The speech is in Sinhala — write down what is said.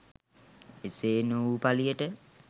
එසේ නොවූ පලියට